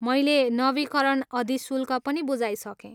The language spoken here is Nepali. मैले नवीकरण अधिशुल्क पनि बुझाइसकेँ।